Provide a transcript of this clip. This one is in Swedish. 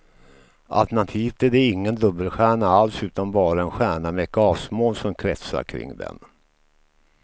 Alternativt är det ingen dubbelstjärna alls utan bara en stjärna med ett gasmoln som kretsar kring den.